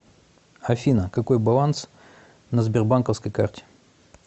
афина какой баланс на сбербанковской карте